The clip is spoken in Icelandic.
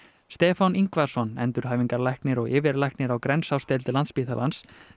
Stefán Yngvason endurhæfingarlæknir og yfirlæknir á Grensásdeild Landspítalans